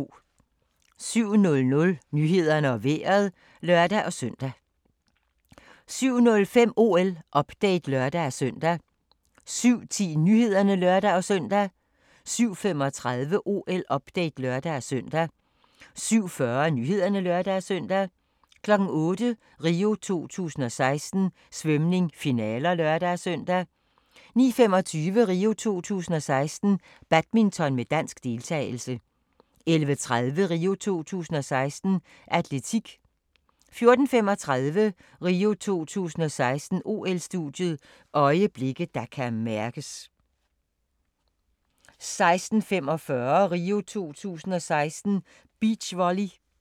07:00: Nyhederne og Vejret (lør-søn) 07:05: OL-update (lør-søn) 07:10: Nyhederne (lør-søn) 07:35: OL-update (lør-søn) 07:40: Nyhederne (lør-søn) 08:00: RIO 2016: Svømning - finaler (lør-søn) 09:25: RIO 2016: Badminton med dansk deltagelse 11:30: RIO 2016: Atletik 14:35: RIO 2016: OL-studiet – øjeblikke, der kan mærkes 16:45: RIO 2016: Beachvolley